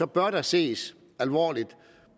bør der ses alvorligt